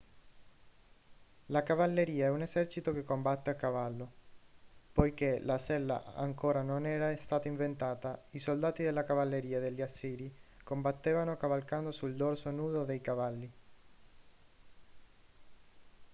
la cavalleria è un esercito che combatte a cavallo poiché la sella ancora non era stata inventata i soldati della cavalleria degli assiri combattevano cavalcando sul dorso nudo dei cavalli